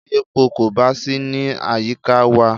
Tí epo kò bá sí ní àyíká wa.